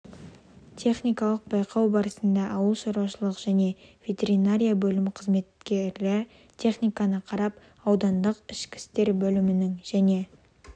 техникалық байқау барысында ауыл шаруашылық және ветеринария бөлімінің қызметкері техниканы қарап аудандық ішкі істер бөлімінің және